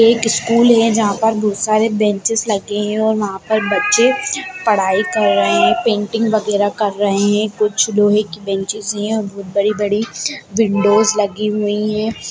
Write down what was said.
एक स्कूल है जहा पर बहुत सारे बेंचेस लगे हुए हैं और वहा पर बच्चे पढ़ाई कर रहे है पेंटिंग वेग्य्रह कर रहे हैं कुछ लोहे की बेंचेस हैं बहुत बड़ी-बड़ी विंडोज़ लगी हुई हैं।